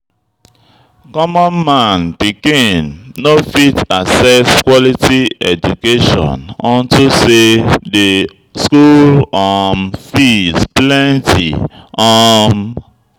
Common man pikin no go fit access quality education unto say de school um fees plenty um.